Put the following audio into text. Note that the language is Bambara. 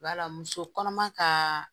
Wala muso kɔnɔma kaaa